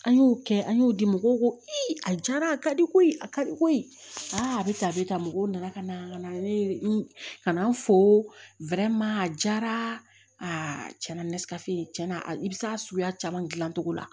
An y'o kɛ an y'o di mɔgɔw ko a diyara a ka di ko ye a ka di koyi a bɛ tan a bɛ tan mɔgɔw nana ka na ka na ne ka na n fo a jara a na ni tiɲɛna a bɛ se a suguya caman dilan cogo la